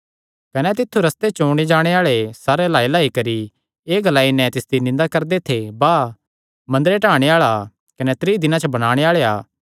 कने तित्थु रस्ते च ओणे जाणे आल़े सिरे हिलाईहिलाई करी कने एह़ ग्लाई नैं तिसदी निंदा करदे थे वाह मंदरे ढाणे आल़ेया कने त्रीं दिनां च बणाणे आल़ेया